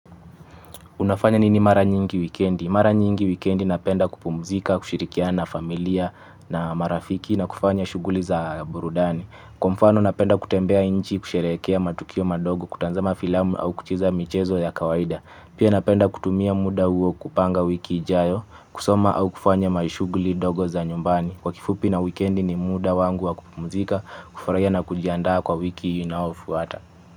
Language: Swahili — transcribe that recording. Unafanya nini mara nyingi wikendi? Mara nyingi wikendi napenda kupumzika, kushirikiana na familia na marafiki na kufanya shughuli za burudani. Kwa mfano napenda kutembea nchi kusherekea matukio madogo kutazama filamu au kucheza michezo ya kawaida. Pia napenda kutumia muda huo kupanga wiki ijayo, kusoma au kufanya mashughuli dogo za nyumbani. Kwa kifupi na wikendi ni muda wangu wa kupumzika, kufurahia na kujiandaa kwa wiki inayofuata.